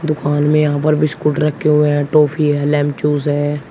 दुकान में यहां पर बिस्किट रखे हुए हैं ट्रॉफी है लेमचूस है।